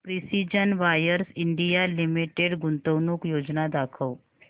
precision Wires India Limited गुंतवणूक योजना दाखव